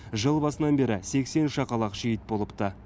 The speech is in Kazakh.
жыл басынан бері сексен шақалақ шейіт болыпты